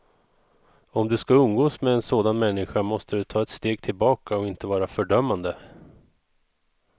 Om du skall umgås med en sådan människa måste du ta ett steg tillbaka och inte vara fördömande.